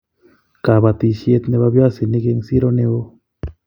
kabatishiet nebo viazinik eng' sero neo